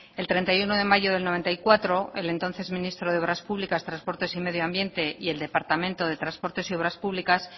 el treinta y uno de mayo de mil novecientos noventa y cuatro el entonces ministro de obras públicas transportes y medio ambiente y el departamento de transportes y obras públicas